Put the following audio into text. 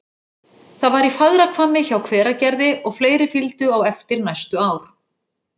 Það var í Fagrahvammi hjá Hveragerði, og fleiri fylgdu á eftir næstu ár.